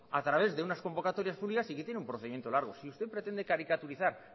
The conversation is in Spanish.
a través de unas convocatorias públicas y que tiene un procedimiento largo si usted pretende caricaturizar